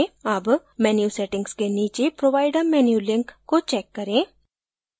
अब menu settings के नीचे provide a menu link को check करें